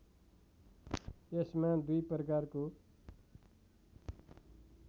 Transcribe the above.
यसमा दुई प्रकारको